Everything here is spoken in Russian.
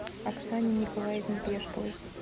оксане николаевне пешковой